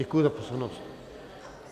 Děkuji za pozornost.